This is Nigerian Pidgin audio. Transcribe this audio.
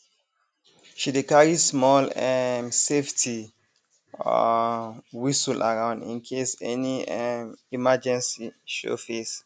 she dey carry small um safety um whistle around in case any um emergency show face